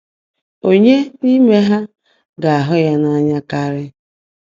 “Ònyeé n’íimé há gá-áhụ́ yá n’áńyá kárị́?”